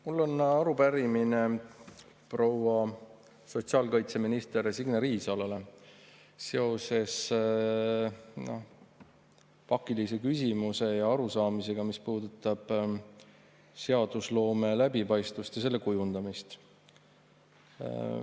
Mul on arupärimine proua sotsiaalkaitseminister Signe Riisalole seoses pakilise küsimuse ja arusaamisega, mis puudutab seadusloome läbipaistvust ja selle kujundamist.